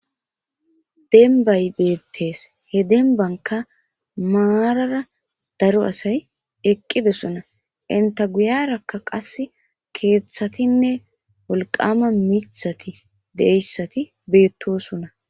Denbay beettes he denbanka maarara daro asay eqqidosona inta guyarakka qas keeththatinne wolqama mithati deeyssati beettosona